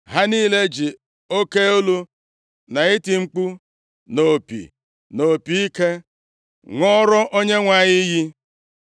Ha niile ji oke olu na iti mkpu na opi na opi ike, ṅụọrọ Onyenwe anyị iyi.